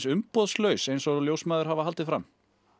umboðslaus eins og ljósmæður hafa haldið fram